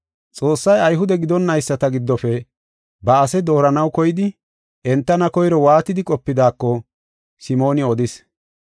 Xoossay Ayhude gidonnayisata giddofe ba ase dooranaw koyidi entana koyro waatidi qopidaako Simooni odis.